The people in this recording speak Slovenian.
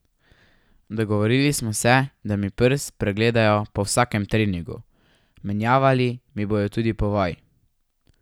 Dogovorili smo se, da mi prst pregledajo po vsakem treningu, menjavali mi bodo tudi povoj.